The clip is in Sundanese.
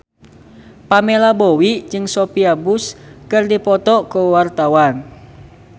Pamela Bowie jeung Sophia Bush keur dipoto ku wartawan